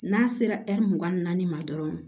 N'a sera mugan ni naani ma dɔrɔn